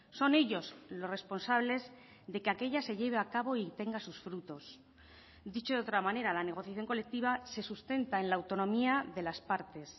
son ellos los responsables de que aquella se lleve a cabo y tenga sus frutos dicho de otra manera la negociación colectiva se sustenta en la autonomía de las partes